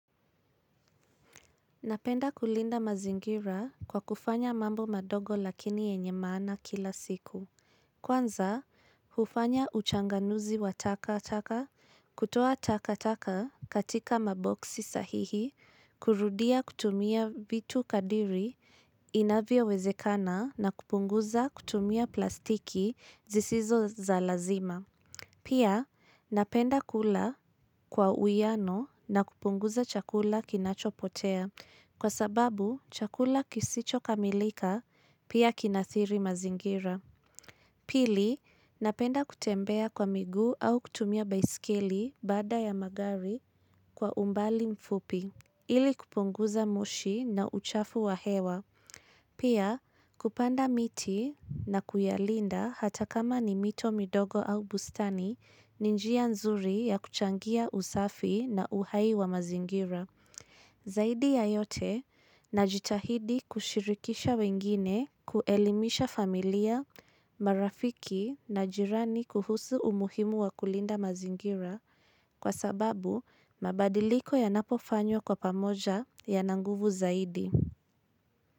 Napenda kulinda mazingira kwa kufanya mambo madogo lakini yenye maana kila siku. Kwanza, hufanya uchanganuzi wa taka-taka, kutoa taka-taka katika maboksi sahihi, kurudia kutumia vitu kadiri inavyowezekana na kupunguza kutumia plastiki zisizo za lazima. Pia napenda kula kwa uiano na kupunguza chakula kinachopotea kwa sababu chakula kisicho kamilika pia kinathiri mazingira. Pili napenda kutembea kwa miguu au kutumia baiskeli baada ya magari kwa umbali mfupi ili kupunguza mushi na uchafu wa hewa. Pia kupanda miti na kuyalinda hata kama ni mito midogo au bustani ni njia nzuri ya kuchangia usafi na uhai wa mazingira. Zaidi ya yote najitahidi kushirikisha wengine kuelimisha familia, marafiki na jirani kuhusu umuhimu wa kulinda mazingira kwa sababu mabadiliko yanapofanywa kwa pamoja yana nguvu zaidi.